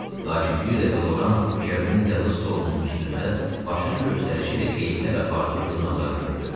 Lakin bir dəfə Loran Kernin yazı stolunun üstündə başın göstərişi ilə qeydlər apardığı jurnalları gördü.